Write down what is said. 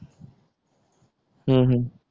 हम्म हम्म